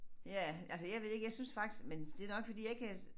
Ja altså jeg ved ikke jeg synes faktisk men det nok fordi jeg ikke er